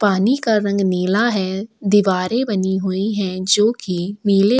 पानी का रंग नीला है दीवारे बनी हुए है जो कि नीला --